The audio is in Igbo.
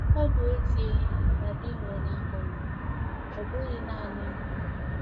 Ọ bụ ezie na di m nwụnahụrụ, ọ bụghị nanị m.